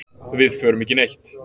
Við förum ekki neitt.